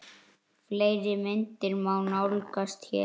Fleiri myndir má nálgast hér